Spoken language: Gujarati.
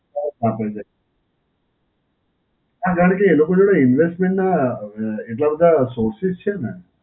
source આપે છે. હાં જ્યારે એ લોકો જોડે investment નાં એટલા બધાં sources છે ને,